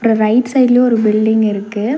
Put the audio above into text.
Right சைட்லயு ஒரு building இருக்கு.